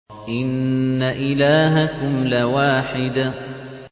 إِنَّ إِلَٰهَكُمْ لَوَاحِدٌ